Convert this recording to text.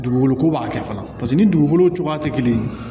Dugukolo ko b'a kɛ fana paseke ni dugukolo cogoya tɛ kelen ye